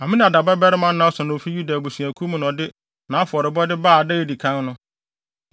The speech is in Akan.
Aminadab babarima Nahson a ofi Yuda abusuakuw mu na ɔde nʼafɔrebɔde baa da a edi kan no.